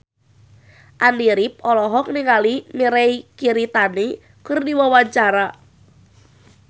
Andy rif olohok ningali Mirei Kiritani keur diwawancara